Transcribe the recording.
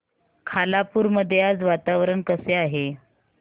खालापूर मध्ये आज वातावरण कसे आहे